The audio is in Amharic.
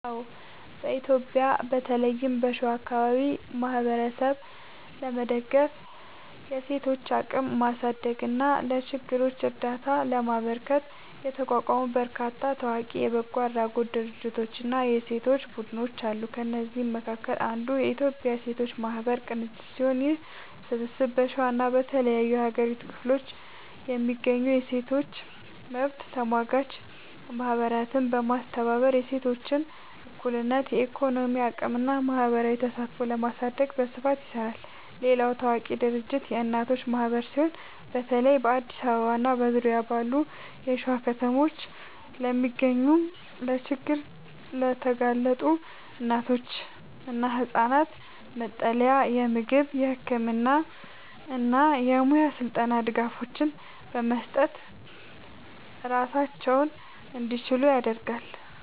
አዎ፣ በኢትዮጵያ በተለይም በሸዋ አካባቢ ማህበረሰብን ለመደገፍ፣ የሴቶችን አቅም ለማሳደግ እና ለችግረኞች እርዳታ ለማበርከት የተቋቋሙ በርካታ ታዋቂ የበጎ አድራጎት ድርጅቶችና የሴቶች ቡድኖች አሉ። ከእነዚህም መካከል አንዱ የኢትዮጵያ ሴቶች ማህበራት ቅንጅት ሲሆን፣ ይህ ስብስብ በሸዋና በተለያዩ የሀገሪቱ ክፍሎች የሚገኙ የሴቶች መብት ተሟጋች ማህበራትን በማስተባበር የሴቶችን እኩልነት፣ የኢኮኖሚ አቅምና ማህበራዊ ተሳትፎ ለማሳደግ በስፋት ይሰራል። ሌላው ታዋቂ ድርጅት የእናት ማህበር ሲሆን፣ በተለይ በአዲስ አበባና በዙሪያዋ ባሉ የሸዋ ከተሞች ለሚገኙ ለችግር የተጋለጡ እናቶችና ህጻናት መጠለያ፣ የምግብ፣ የህክምና እና የሙያ ስልጠና ድጋፎችን በመስጠት ራሳቸውን እንዲችሉ ያደርጋል።